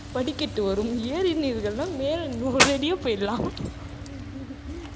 படிக்கட்டு வரும். ஏறினீர்கள்னா மேல நூறடியே போயிடலாம்